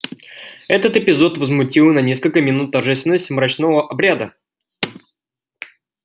этот эпизод возмутил на несколько минут торжественность мрачного обряда